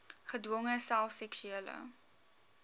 gedwonge self seksuele